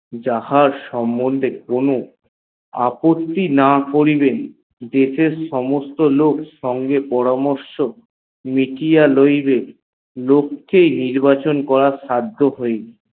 যাহার সম্মন্ধে তাহার কোনো ক্ষতি না করিলেন দেশে র সমস্ত লোক বিকিয়া রৈবে দেশের লোক নির্বাচন হইবে